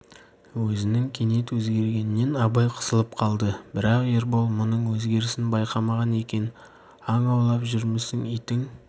өзінің кенет өзгергенінен абай қысылып қалды бірақ ербол мұның өзгерісін байқамаған екен аң аулап жүрмісің итің